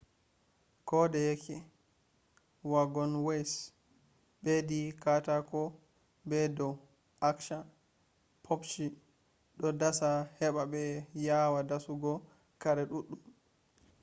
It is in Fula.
kodayeke wagonways bedi katako be dou acsha pupcshi do dasa heba be yawa dasu go kare duddum